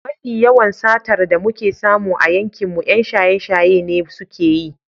Mafi yawan satar da muke samu a yankinmu 'yan shaye-shaye ne suke yi.